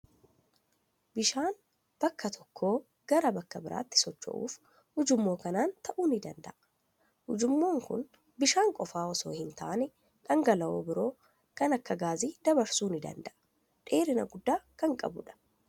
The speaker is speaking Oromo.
Bishaan bakka tokkoo gara bakka biraatti socho'uuf ujummoo kanaan ta'uu ni danda'a. Ujummoon kun bishaan qofaa osoo hin taane, dhangala'oo biro kan akka gaasii dabarsuu ni danda'a. Dheerina guddaa kan qabudha.